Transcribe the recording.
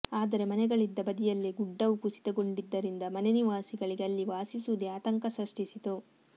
ಆದರೆ ಮನೆಗಳಿದ್ದ ಬದಿಯಲ್ಲೇ ಗುಡ್ಡವು ಕುಸಿತಗೊಂಡಿ ದ್ದರಿಂದ ಮನೆ ನಿವಾಸಿಗಳಿಗೆ ಅಲ್ಲಿ ವಾಸಿಸುವುದೇ ಆತಂಕ ಸಷ್ಟಿಸಿತು